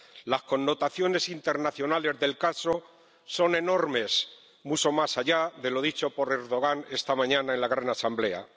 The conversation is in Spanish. Las connotaciones internacionales del caso son enormes, mucho más allá de lo dicho por Erdoğan esta mañana en la Gran Asamblea.